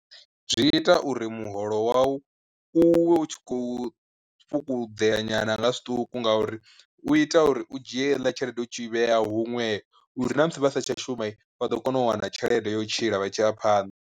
Zwi ita uri muholo wau u we u tshi khou fhungudzea nyana nga zwiṱuku ngauri u ita uri u dzhie heiḽa tshelede u tshi vhea huṅwe uri na musi vha satsha shuma vha ḓo kona u wana tshelede ya u tshila vha tshi ya phanḓa.